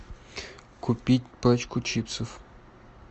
купить пачку чипсов